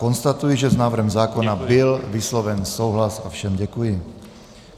Konstatuji, že s návrhem zákona byl vysloven souhlas, a všem děkuji.